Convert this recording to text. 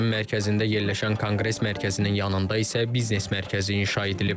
Şəhərin mərkəzində yerləşən konqres mərkəzinin yanında isə biznes mərkəzi inşa edilib.